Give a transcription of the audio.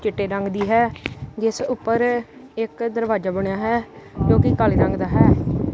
ਚਿੱਟੇ ਰੰਗ ਦੀ ਹੈ ਜਿੱਸ ਊਪਰ ਇੱਕ ਦਰਵਾਜਾ ਬਣਿਆ ਹੈ ਜੋ ਕੀ ਕਾਲੇ ਰੰਗ ਦਾ ਹੈ।